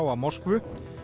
Moskvu